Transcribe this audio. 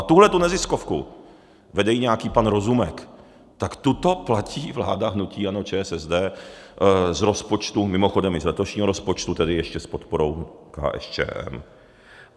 A tuhle neziskovku, vede ji nějaký pan Rozumek, tak tuto platí vláda hnutí ANO, ČSSD z rozpočtu, mimochodem i z letošního rozpočtu, tedy ještě s podporou KSČM.